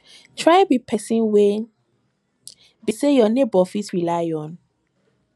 try be person wey be say your neighbor fit rely on